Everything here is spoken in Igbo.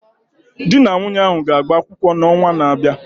Ee, di na nwunye ahụ ga-agba kwụkwọ n'ọnwa na-abịa